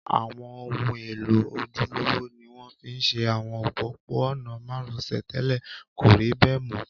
Àwọn ohun èlò ojúlówó ni wọ́n fi ṣe àwọn òpópó-ọ̀nà márosẹ̀ tẹ́lẹ̀, kò rí bẹ̀ mọ́